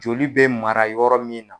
Joli be mara yɔrɔ min na